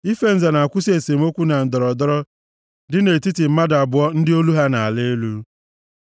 Ife nza na-akwụsị esemokwu na ndọrọndọrọ dị nʼetiti mmadụ abụọ ndị olu ha na-ala elu.